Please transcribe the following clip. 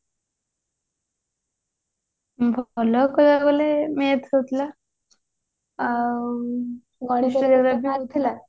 ଭଲ କହିବାକୁ ଗଲେ math ହଉଥିଲା ଆଉ